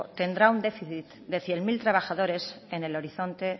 tendrá un déficit de cien mil trabajadores en el horizonte